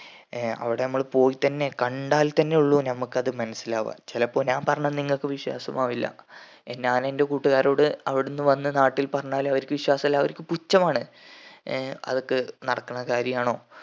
ഏർ അവിടെ നമ്മൾ പോയിട്ടെന്നെ കണ്ടാൽ തന്നെ ഉള്ളു നമ്മക്ക് അത് മനസ്സിലാവാൻ ചിലപ്പോ ഞാൻ പറഞ്ഞാ നിങ്ങക്ക് വിശ്വാസമാവില്ല ഞാന് എന്റെ കൂട്ടുകാരോട് അവിടിന്ന് വന്ന് നാട്ടിൽ പറഞ്ഞാൽ അവരിക്ക് വിശ്വസല്ല അവരിക്ക് പുച്ഛമാണ് ഏർ അതൊക്കെ നടക്കണ കാര്യമാണോ